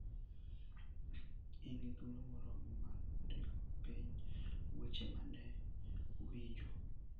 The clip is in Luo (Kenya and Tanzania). In gi thuolo moromo mar ndiko piny weche ma ne uwinjo.